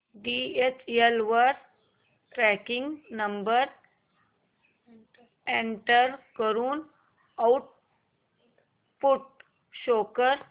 DHL वर tracking number enter करून output show कर